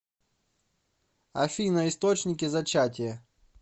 афина источники зачатие